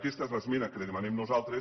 aquesta és l’esmena que li demanem nosaltres